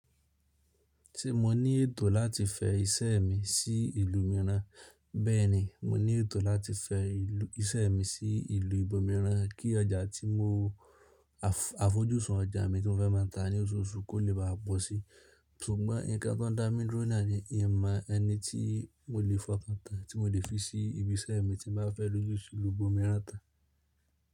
Tí mo ní ètò láti fẹ ìsẹ mi sí ìlú mìíràn, bẹ́ẹ̀ni mo ní ètò láti fẹ ìṣe mi sí ìlú ibòmíràn kí ọjà tí mo, àfojúsùn ọjà mi tó fẹ́ má a ta ní oṣooṣù kó lè báa pọ́ sí. Ṣùgbọ́n nǹkan tó ń dá mi dúró nọ ní in mọ ẹni tí mo lè fọkàntàn tí mo lè fi sí ibi iṣẹ́ mi tí n máa fẹ́ lòjù sí ìlú ibòmíràn tàn.